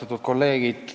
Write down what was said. Austatud kolleegid!